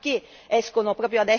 Da chi vengono armati?